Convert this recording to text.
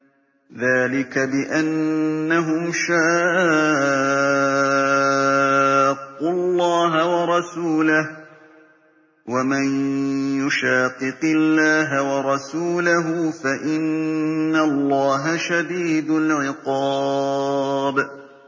ذَٰلِكَ بِأَنَّهُمْ شَاقُّوا اللَّهَ وَرَسُولَهُ ۚ وَمَن يُشَاقِقِ اللَّهَ وَرَسُولَهُ فَإِنَّ اللَّهَ شَدِيدُ الْعِقَابِ